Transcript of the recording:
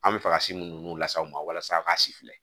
An bɛ fɛ ka si munnu las'aw ma walasa k'a si filɛ